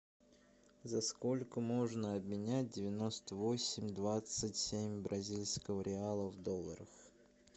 за сколько можно обменять девяносто восемь двадцать семь бразильского реала в долларах